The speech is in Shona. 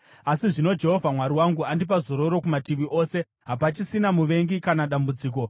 Asi zvino Jehovha Mwari wangu andipa zororo kumativi ose, hapachisina muvengi kana dambudziko.